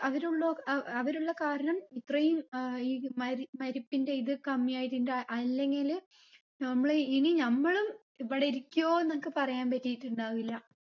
അവര് ഉള്ള അഹ് അവര് ഉള്ള കാരണം ഇത്രയും ഏർ ഈ മരി മരിപ്പിന്റെ ഇത് കമ്മി ആയതിന്റെ അല്ലെങ്കില് നമ്മള് ഇനി നമ്മളും ഇവിടെ ഇരിക്കുവോന്നൊക്കെ പറയാൻ പറ്റിട്ടുണ്ടാവില്ല